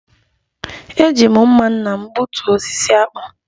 E ji m mma nna m gbutuo osisi akpu